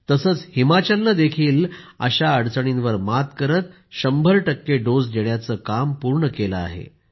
तसंच हिमाचलनंही अशा अडचणींवर मात करत शंभर टक्के डोस देण्याचं काम पूर्ण केलं आहे